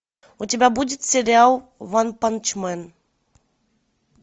у тебя будет сериал ванпанчмен